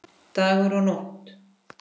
Dagur og Nótt.